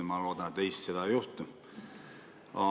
Ma loodan, et Eestis seda ei juhtu.